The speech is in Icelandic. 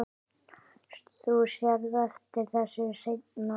Þú sérð eftir þessu seinna.